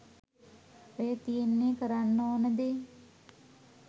ඔය තියෙන්නේ කරන්න ඕන දේ